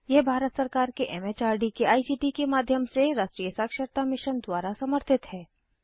यह भारत सरकार के एमएचआरडी के आईसीटी के माध्यम से राष्ट्रीय साक्षरता मिशन द्वारा समर्थित है